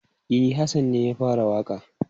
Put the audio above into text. E, Hassan ne ya fara waƙa.